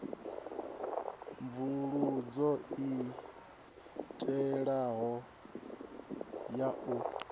mvusuludzo i tevhelaho ya u